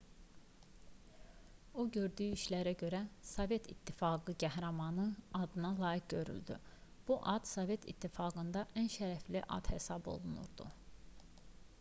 o gördüyü işlərə görə sovet i̇ttifaqı qəhrəmanı adına layiq görüldü bu ad sovet i̇ttifaqında ən şərəfli ad hesab olunurdu